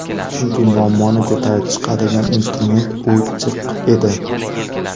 Chunki muammoni ko‘tarib chiqadigan instrument o‘chiq edi.